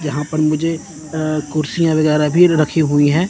यहां पर मुझे अ कुर्सियां वगैरा भी रखी हुई है।